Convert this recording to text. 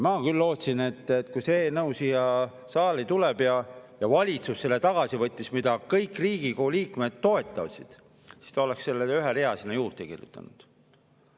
Ma küll lootsin, et kui see eelnõu tuleb siia saali – kuna valitsus võttis selle tagasi, kõik Riigikogu liikmed seda toetasid –, siis on see üks rida sinna juurde kirjutatud.